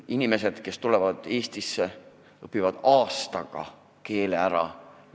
Inimesed, kes tulevad praegu Eestisse, õpivad aastaga keele ära.